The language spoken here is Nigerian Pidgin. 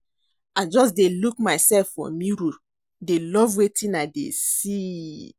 I just dey look myself for mirror dey love wetin I dey see